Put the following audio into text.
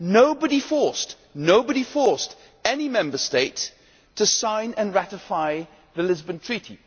Nobody forced any Member State to sign and ratify the Lisbon Treaty.